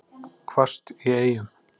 Hvasst í Eyjum